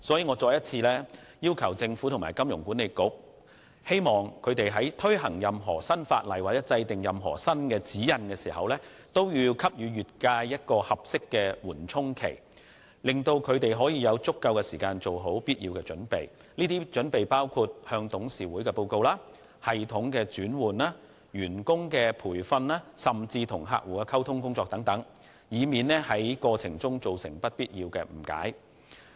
我再次要求政府和金管局，在推行任何新法例或新指引時，都應先給予業界合適的緩衝期，讓業界成員有足夠時間做好準備，包括向董事會作出報告、更新系統，培訓員工及與客戶溝通等，以免造成不必要的誤解。